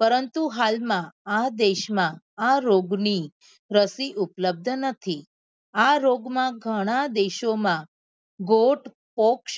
પરંતુ હાલ માં આ દેશ માં આ રોગ ની રસી ઉપલબ્ધ નથી આ રોગ માં ગણ દેશો માં ગોત્ર પોક્ષ